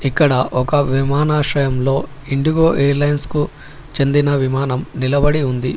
ఇక్కడ ఒక విమానాశ్రయంలో ఇండిగో ఎయిర్ లైన్స్ కు చెందిన విమానం నిలబడి ఉంది.